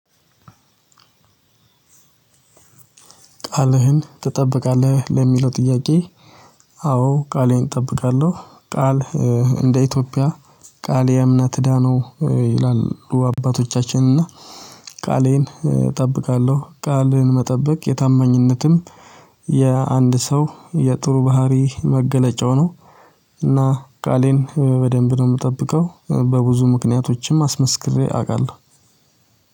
ቃልህን ትጠብቃለህ ለሚለው ጥያቄ? አዎ ቃሌን እጠብቃለሁ። ቃል እንደ ኢትዮጵያ ቃሌ እምነት እዳ ነው ይላሉ አባቶቻችን እና። ቃሌን እጠብቃለሁ ቃልን መጠበቅ የታማኝነትም የአንድ ሰው የጥሩ ባህሪ መገለጫው ነው። እና ቃሌን በደንብ ነው የምጠብቀው በብዙ ምክንያቶችም አስመስክሬ አውቃለሁ።